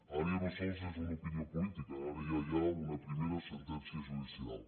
ara ja no sols és una opinió política ara ja hi ha una primera sentència judicial